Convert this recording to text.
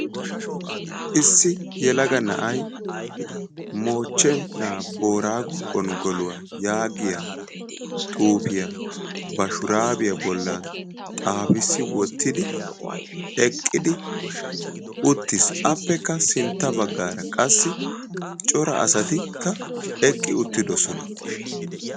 Issi yeelaga na'ay moochche booraggo gonggoluwa giyaa xuufiya ba shurabbiya bollan xaafissi wottidi, eqqi uttis appekka sintta baggara qassi cora asati eqqi uttidoosona.